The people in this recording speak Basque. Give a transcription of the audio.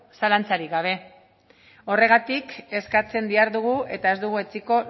zalantzarik gabe horregatik eskatzen dihardugu eta ez dugu etsiko